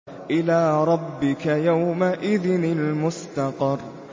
إِلَىٰ رَبِّكَ يَوْمَئِذٍ الْمُسْتَقَرُّ